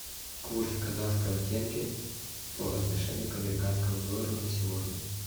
курс казахского тенге по отношению к американскому доллару на сегодня